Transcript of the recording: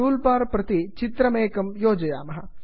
tool bar प्रति चित्रकमेकं योजयामः